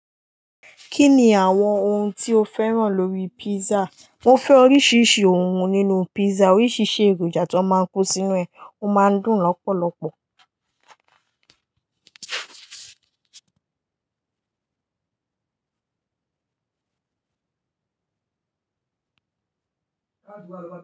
Kini awon ohun ti o feran lori pizza. Mo fẹ́ oríṣiríṣi ohun nínú pizza. Oríṣiríṣi èròjà tí wọ́n máa ń kó sínú ẹ̀, ó máa ń dùn lọ́pọ̀lọpọ̀.